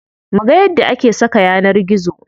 Muga yadda ake saka yanar gizo.